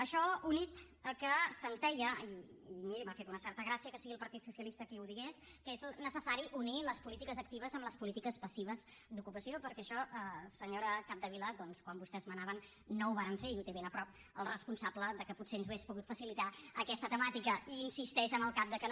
això unit al fet que se’ns deia i miri m’ha fet una certa gràcia que sigui el partit socialista qui ho digués que és necessari unir les polítiques actives amb les polítiques passives d’ocupació perquè això senyora capdevila doncs quan vostès manaven no ho varen fer i té ben a prop el responsable que potser ens hauria pogut facilitar aquesta temàtica i insisteix amb el cap que no